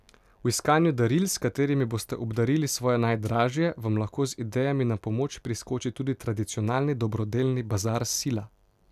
V iskanju daril, s katerimi boste obdarili svoje najdražje, vam lahko z idejami na pomoč priskoči tudi tradicionalni dobrodelni bazar Sila.